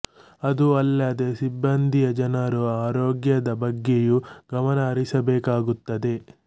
ಅದೂ ಅಲ್ಲದೆ ಸಿಬ್ಬಂದಿಯ ಜನರ ಆರೋಗ್ಯದ ಬಗ್ಗೆಯೂ ಗಮನ ಹರಿಸಬೇಕಾಗುತ್ತದೆ